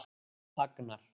Agnar